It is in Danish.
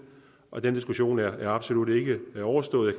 og den diskussion er absolut ikke overstået